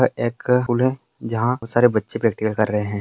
अ एक स्कूल है जहाँ बहुत सारे बच्चे प्रैक्टिकल कर रहे हैं।